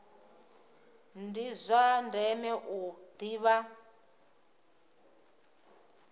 ndi zwa ndeme u ḓivha